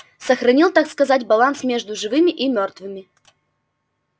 сохранил так сказать баланс между живыми и мёртвыми